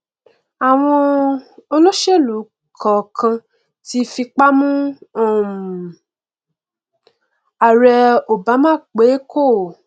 àwọn olóṣèlú kọọkan ti fipá mú um ààrẹ obama pé kó